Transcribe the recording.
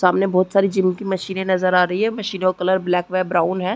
सामने बहुत सारी जिम की मशीने नज़र आ रही है मशीनों का कलर ब्लैक वह ब्राउन है।